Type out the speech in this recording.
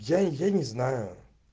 я я не знаю